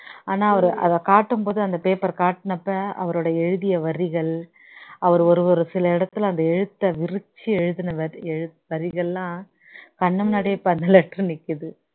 ஆனா அவர் அதை காட்டும்போது அந்த paper காட்டுன அப்போ அவருடைய எழுதிய வரிகள் அவர் ஒரு ஒரு சில இடத்துல அந்த எழுத்த விருச்சி எழுதுன வரிஎழு வரிகள்லாம் கண்ணு முன்னாடியே இப்போ அந்த letter நிக்குது